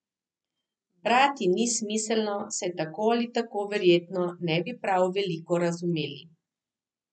Brati ni smiselno, saj tako ali tako verjetno ne bi prav veliko razumeli.